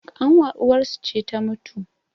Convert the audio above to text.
ƙanwar uwarsu ce ta mutu